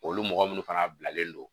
Olu mɔgɔ minnu fana bilalen don